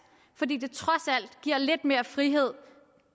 fordi det trods alt giver lidt mere frihed